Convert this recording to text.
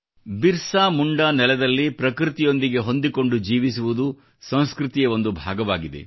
ಬಿರ್ಸಾ ಮುಂಡಾ ನೆಲದಲ್ಲಿ ಪ್ರಕೃತಿಯೊಂದಿಗೆ ಹೊಂದಿಕೊಂಡು ಜೀವಿಸುವುದು ಸಂಸ್ಕೃತಿಯ ಒಂದು ಭಾಗವಾಗಿದೆ